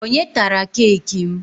Onye tara keeki m?